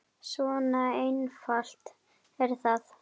Svona einfalt er það.